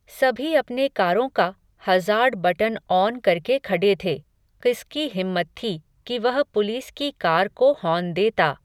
सभी अपने कारों का, हज़ार्ड बटन ऑन करके खडे थे, क़िसकी हिम्मत थी, कि वह पुलिस की कार को हॉर्न देता